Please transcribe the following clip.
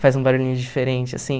Faz um barulhinho diferente, assim.